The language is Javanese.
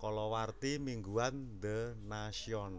kalawarti mingguan The Nation